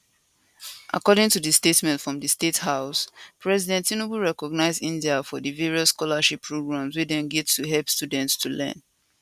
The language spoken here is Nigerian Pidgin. according to statement from di state house president tinubu recognise india for di various scholarship programs wey dem get to help students to learn